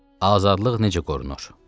Azadlıq necə qorunur?